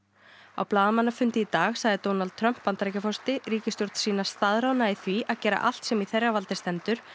á blaðamannafundi í dag sagði Donald Trump Bandaríkjaforseti ríkisstjórn sína í því að gera allt sem í þeirra valdi stendur